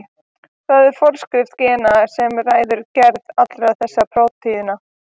Það er forskrift gena sem ræður gerð allra þessara prótína.